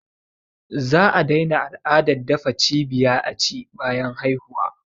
Za a daina al’adar dafa cibiya aci bayan haihuwa